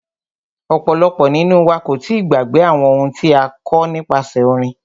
Ọ̀pọ̀lọpọ̀ nínú wa kò tíì gbàgbé àwọn ohun tí a kọ́ nípasẹ orin.